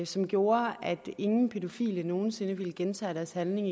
som gjorde at ingen pædofile nogen sinde ville gentage deres handling